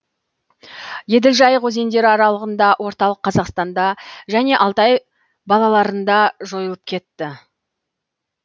еділ жайық өзендері аралығында орталық қазақстанда және алтай балаларында жойылып кетті